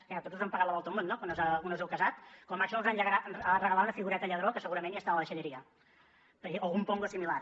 què a tots us han pagat la volta al món no quan us heu casat com a màxim us van regalar una figureta lladró que segurament ja està a la deixalleria o algun pongo o similar